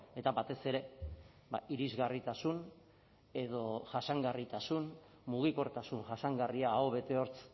eta batez ere irisgarritasun edo jasangarritasun mugikortasun jasangarria aho bete hortz